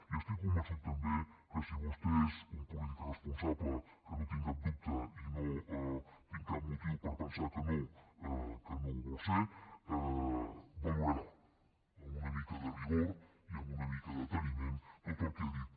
i estic convençut també que si vostè és un polític responsable que no en tinc cap dubte i no tinc cap motiu per pensar que no que no ho vol ser valorarà amb una mica de rigor i amb una mica de deteniment tot el que he dit